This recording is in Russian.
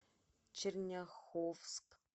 черняховск